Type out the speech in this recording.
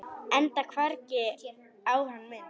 Enda hvergi á hann minnst.